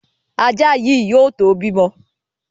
Ajá yìí yóò tó bímọ.